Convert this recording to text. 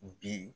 Bi